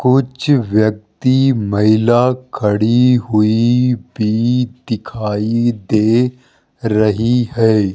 कुछ व्यक्ति महिला खड़ी हुई भी दिखाई दे रही है।